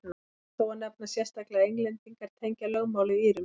rétt er þó að nefna sérstaklega að englendingar tengja lögmálið írum